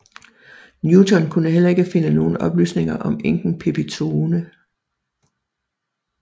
Newton kunne heller ikke finde nogle oplysninger om enken Pepitone